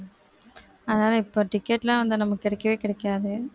அதனால இப்ப ticket லாம் வந்து நமக்கு கிடைக்கவே கிடைக்காது